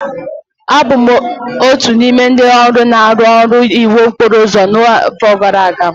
Abụ m otu n'ime ndị ọrụ na-arụ ọrụ iwu okporo ụzọ n'afọ gara aga.